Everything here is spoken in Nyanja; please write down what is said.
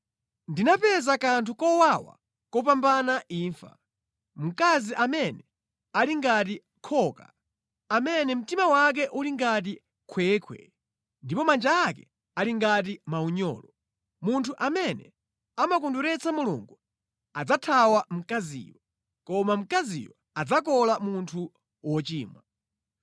Ndinapeza kanthu kowawa kupambana imfa, mkazi amene ali ngati khoka, amene mtima wake uli ngati khwekhwe, ndipo manja ake ali ngati maunyolo. Munthu amene amakondweretsa Mulungu adzathawa mkaziyo, koma mkaziyo adzakola munthu wochimwa.